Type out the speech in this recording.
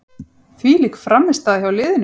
Þvílík frammistaða hjá liðinu.